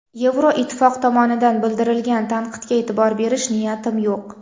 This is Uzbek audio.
Yevroittifoq tomonidan bildirilgan tanqidga e’tibor berish niyatim yo‘q.